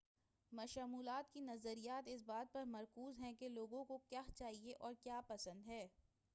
مشمولات کے نظریات اس بات پر مرکوز ہیں کہ لوگوں کو کیا چاہئے اور کیا پسند ہے